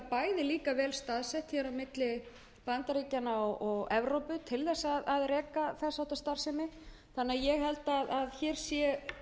við íslendingar vel staðsettir á milli bandaríkjanna og evrópu til þess að reka þess háttar starfsemi ég held því